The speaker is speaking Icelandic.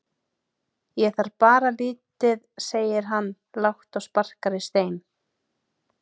Ég þarf bara lítið segir hann lágt og sparkar í stein.